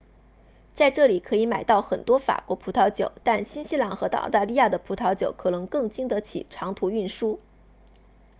在这里可以买到很多法国葡萄酒但新西兰和澳大利亚的葡萄酒可能更经得起长途运输